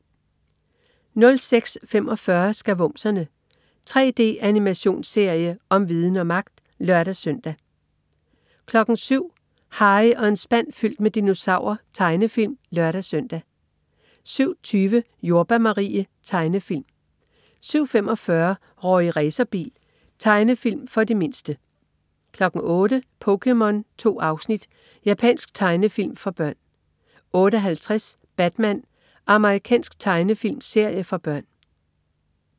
06.45 Skavumserne. 3D-animationsserie om viden og magt! (lør-søn) 07.00 Harry og en spand fyldt med dinosaurer. Tegnefilm (lør-søn) 07.20 Jordbær Marie. Tegnefilm 07.45 Rorri Racerbil. Tegnefilm for de mindste 08.00 POKéMON. 2 afsnit. Japansk tegnefilm for børn 08.50 Batman. Amerikansk tegnefilmserie for børn